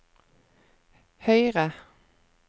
høyre